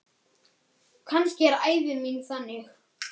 Kannski er ævi mín þannig.